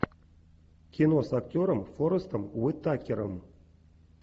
кино с актером форестом уитакером